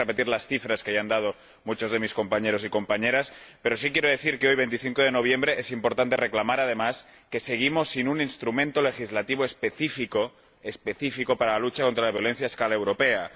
No voy a repetir las cifras que ya han dado muchos de mis compañeros y compañeras, pero sí quiero decir que hoy, 25 de noviembre, es importante reclamar, además, que seguimos sin un instrumento legislativo específico para la lucha contra la violencia a escala europea.